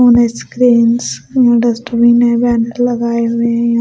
यहां डस्टबिन है बैनर लगाए हुए हैं यहां--